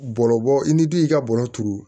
Bɔlɔlɔ bɔ i ni du y'i ka bɔrɔ turu